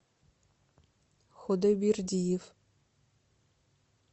худойбердиев